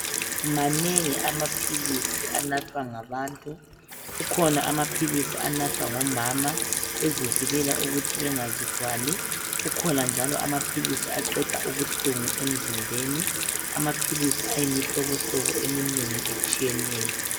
Manengi amaphilisi anathwa ngabantu .Kukhona amaphilisi anathwa ngomama bezivikela ukuthi bengazithwali . Kukhona njalo amaphilisi aqeda ubuhlungu emzimbeni . Amaphilisi ayimhlobo hlobo eminengi etshiyeneyo .